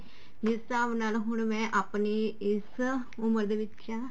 ਜਿਸ ਹਿਸਾਬ ਨਾਲ ਹੁਣ ਮੈਂ ਆਪਣੀ ਇਸ ਉਮਰ ਦੇ ਵਿੱਚ